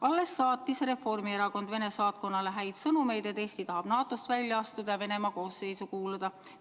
Alles see oli, kui Reformierakond saatis Vene saatkonnale häid sõnumeid, et Eesti tahab NATO-st välja astuda ja Venemaa koosseisu kuuluda.